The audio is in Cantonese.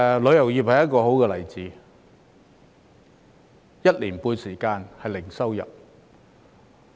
旅遊業便是一個好例子，有一年半的時間是零收入。